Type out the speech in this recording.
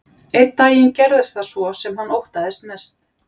Einn daginn gerðist það svo sem hann óttaðist mest.